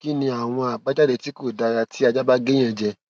kí ni àwọn àbájáde tí kò dára tí aja ba ge eyan je